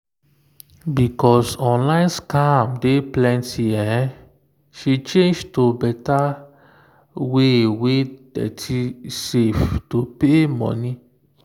because online scam don plenty she change to better way wey dey safe to pay money.